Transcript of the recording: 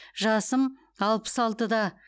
жасым алпыс алтыда